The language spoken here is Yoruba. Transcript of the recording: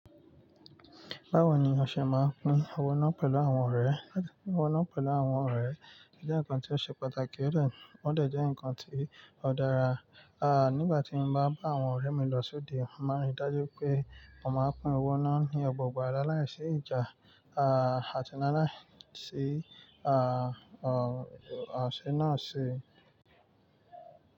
Báwo ni o ṣe máa ń pín owó náà pẹ̀lú àwọn ọ̀rẹ́? Ó jẹ́ nǹkan tí ó ṣe pàtàkì ó dẹ̀, ó dẹ̀ jẹ́ nǹkan tí ó dára. Aà, nígbà tí mo bá bá àwọn ọ̀rẹ́ mi lọ sóde, mo máa ń rí dájú pé a máa n pín owó nà ní ọ̀gbà ọ̀gbà láláì sí ìjà. Aà, àti laláìsí aà, àse náà ṣé.